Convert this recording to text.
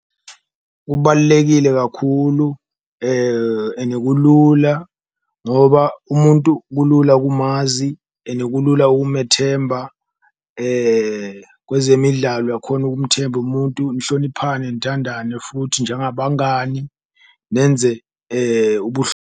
Kubalulekile kakhulu ene kulula ngoba umuntu kulula kumanzi ene kulula ukumethemba, kwezemidlalo uyakhona ukumthemba umuntu nihloniphane, nithandane futhi njengabangani nenze .